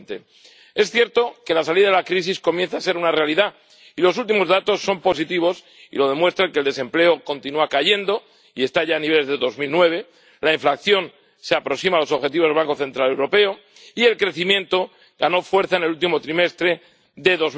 2020. Es cierto que la salida de la crisis comienza a ser una realidad y los últimos datos son positivos, como lo demuestra que el desempleo continúa cayendo y está ya a niveles de 2009, que la inflación se aproxima a los objetivos del Banco Central Europeo, y que el crecimiento ganó fuerza en el último trimestre de